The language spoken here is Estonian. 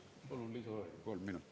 Palun lisaaega kolm minutit.